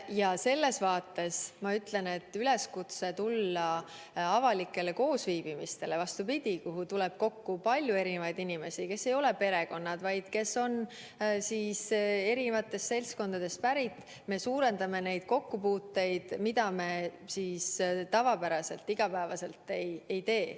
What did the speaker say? Ja sellepärast ma ütlen, et üleskutsega tulla avalikule üritusele, kuhu tuleb kokku palju erinevaid inimesi, kes ei ole perekonnad, vaid kes on eri seltskondadest pärit, me suurendame neid kokkupuuteid, mida me tavapäraselt iga päev ei tee.